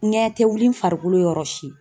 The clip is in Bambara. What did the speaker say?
Ŋɛɲɛ te wuli n farikolo yɔrɔ si.